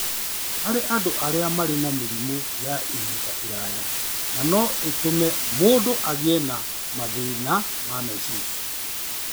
harĩ andũ arĩa marĩ na mĩrimũ ya ihinda iraya na no ĩtũme mũndũ agĩe na mathĩna ma meciria.